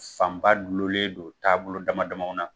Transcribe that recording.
Fanba dulonlen don taabolo damadama na